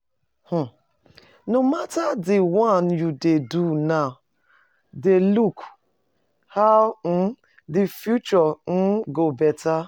um No matter di one you dey do now de look how um di future um go better